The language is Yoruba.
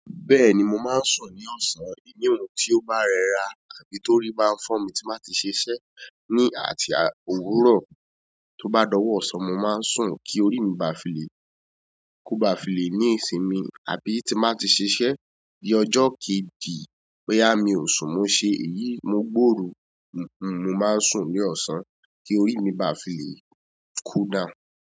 Bẹ́ẹ̀ni mo máa ń sùn ní ọ̀sán, ìyun tí ó bá rẹra àbí torí bá ń fọ́ mi tí mbá ti ṣiṣẹ́ ní àti òwúrọ̀ tó bá dọ̀wọ́ ọ̀sán mo máa ń sùn kí orí mi ba lè, ba filè ní ìsinmi àbí tí mba ti ṣiṣẹ́ di ọjọ́ kejì boya mi ò sùn mo ṣe èyí mo gbòòru hun hun, mo máa ń sùn ní ọ̀sán kí orí mi ba filè cool down.